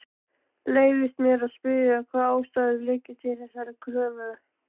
Leyfist mér að spyrja, hvaða ástæður liggi til þessarar kröfu?